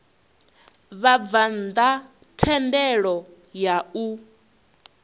vhabvann ḓa thendelo ya u